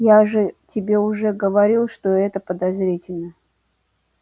я уже тебе уже говорил что это подозрительно